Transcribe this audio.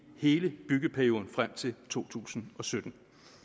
hele byggeperioden frem til totusinde og syttende